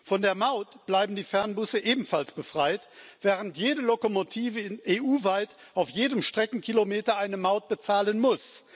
Von der Maut bleiben die Fernbusse ebenfalls befreit, während jede Lokomotive EU weit auf jedem Streckenkilometer eine Maut bezahlen muss.